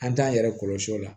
An t'an yɛrɛ kɔlɔsi o la